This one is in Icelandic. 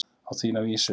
Á þína vísu.